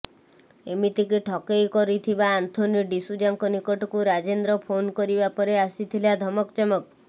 ଏମିତିକି ଠକେଇ କରିଥିବା ଆନ୍ଥୋନି ଡିସୁଜାଙ୍କ ନିକଟକୁ ରାଜେନ୍ଦ୍ର ଫୋନ କରିବା ପରେ ଆସିଥିଲା ଧମକଚମକ